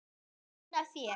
Fín af þér.